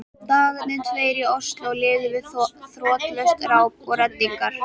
Dagarnir tveir í Osló liðu við þrotlaust ráp og reddingar.